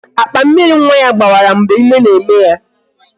Akpa Mmịrị nwa ya gbawara mgbe ime na-eme ya